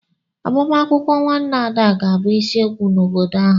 Agbamakwụkwọ nwanne Ada ga-abụ isiokwu n'obodo ahu.